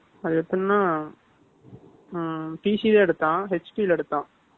அது எப்படின்னா PC தான் எடுத்தான், HP ல எடுத்தான்